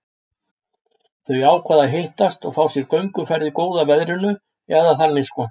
Þau ákváðu að hittast og fá sér gönguferð í góða veðrinu, eða þannig sko.